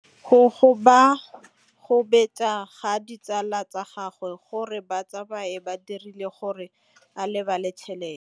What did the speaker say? Go gobagobetsa ga ditsala tsa gagwe, gore ba tsamaye go dirile gore a lebale tšhelete.